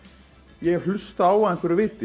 ég hef hlustað á af einhverju viti